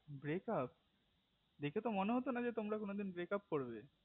break up দেখে তো মনে হতো না যে তোমরা কোনোদিন break up করবে